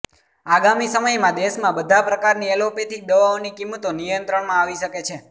આગામી સમયમાં દેશમાં બધા પ્રકારની એલોપેથીક દવાઓની કિંમતો નિયંત્રણમાં આવી શકે છે